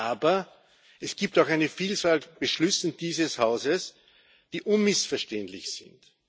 Aber es gibt auch eine Vielzahl an Beschlüssen dieses Hauses, die unmissverständlich sind.